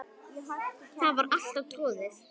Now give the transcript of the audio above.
Það var alltaf troðið.